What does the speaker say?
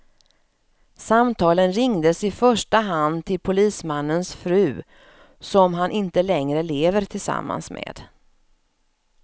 Samtalen ringdes i första hand till polismannens fru, som han inte längre lever tillsammans med.